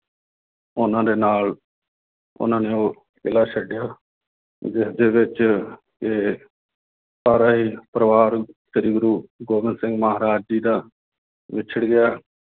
ਉਹਨਾਂ ਦੇ ਨਾਲ ਉਹਨਾਂ ਨੇ ਉਹ ਕਿਲਾ ਛੱਡਿਆ ਜਿਸਦੇ ਵਿੱਚ ਕਿ ਸਾਰਾ ਹੀ ਪਰਿਵਾਰ ਸ੍ਰੀ ਗੁਰੂ ਗੋਬਿੰਦ ਸਿੰਘ ਮਹਾਰਾਜ ਜੀ ਦਾ ਵਿਛੜ ਗਿਆ